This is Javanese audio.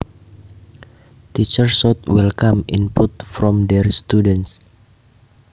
Teachers should welcome input from their students